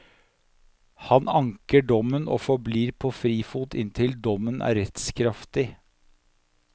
Han anker dommen og forblir på frifot inntil dommen er rettskraftig.